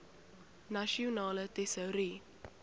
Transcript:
nasionale tesourie